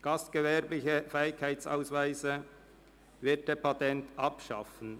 Gastgewerblicher Fähigkeitsausweis (Wirtepatent) abschaffen».